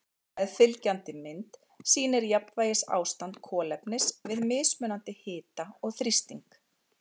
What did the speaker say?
Meðfylgjandi mynd sýnir jafnvægisástand kolefnis við mismunandi hita og þrýsting.